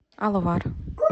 алвар